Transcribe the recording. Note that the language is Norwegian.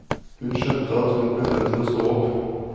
Hun skjønte hun ble nødt til å stå opp.